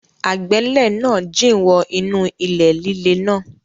Agbẹ́lẹ̀ náà jìn wọ inú ilẹ̀ líle náà.